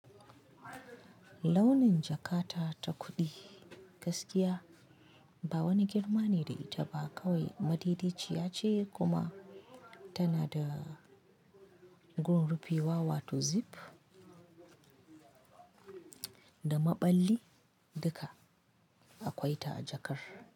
Launin jakata ta kuɗi gaskiya ba wani girma ne da ita ba kawai madaidaciya ce kuma tana da gurin rufewa wato zip da maɓalli duka akwai ta a jakar.